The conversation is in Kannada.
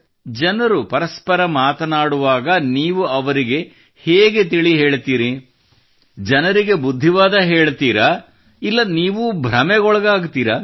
ಜನರು ಪರಸ್ಪರ ಮಾತನಾಡುವಾಗ ನೀವು ಅವರಿಗೆ ಹೇಗೆ ತಿಳಿ ಹೇಳುತ್ತೀರಿ ಜನರಿಗೆ ಬುದ್ಧಿವಾದ ಹೇಳುತ್ತೀರಾ ಇಲ್ಲ ನೀವೂ ಭ್ರಮೆಗೊಳಗಾಗುತ್ತೀರಾ